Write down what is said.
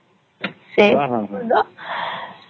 ତାାର ସଙ୍ଗେ